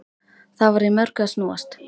Það var í mörgu að snúast.